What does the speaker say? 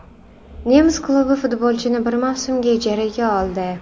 Nemis klubi futbolchini bir mavsumga ijaraga oldi .